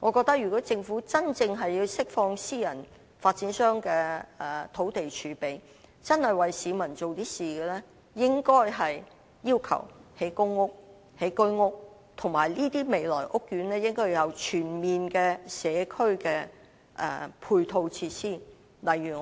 我覺得如果政府要真正釋放私人發展商的土地儲備，真的想為市民做點事情，應該要求興建公屋、居屋，而且這些未來的屋苑應要有全面的社區配套設施，例如